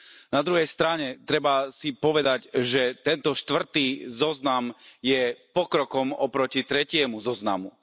Na druhej strane treba si povedať, že tento štvrtý zoznam je pokrokom oproti tretiemu zoznamu.